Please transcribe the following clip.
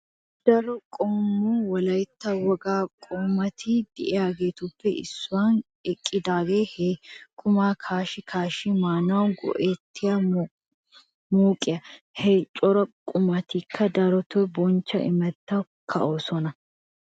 Daro qommo wolaytta wogaa qummatti de'iyaagetuppe issuwan eqiddaage he qumma kaashshi kaashshi maanawu go'iya mooqiya. Ha cora qummatikka daroto bonchcho imattawu ka'oosona.